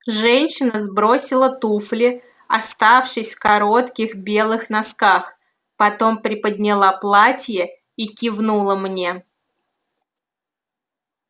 женщина сбросила туфли оставшись в коротких белых носках потом приподняла платье и кивнула мне